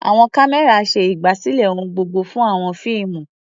Àwọn kámẹ́rà ṣe ìgbàsílẹ̀ ohun gbogbo fún àwọn fíìmù.